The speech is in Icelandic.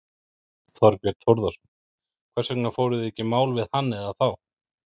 Þorbjörn Þórðarson: Hvers vegna fóruð þið ekki í mál við hann eða þá?